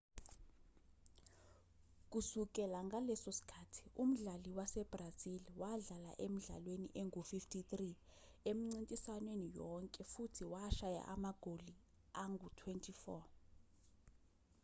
kusukela ngaleso sikhathi umdlali wasebrazil wadlala emidlalweni engu-53 emincintiswaneni yonke futhi washaya amagoli angu-24